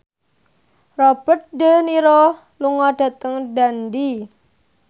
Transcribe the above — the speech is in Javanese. Robert de Niro lunga dhateng Dundee